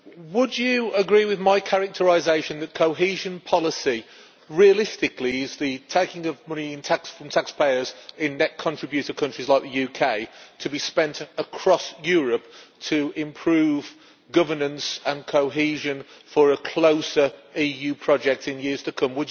Would you agree with my characterisation that cohesion policy, realistically, is the taking of money in tax, from taxpayers in net contributor countries like the UK, to be spent across Europe to improve governance and cohesion for a closer EU project in years to come?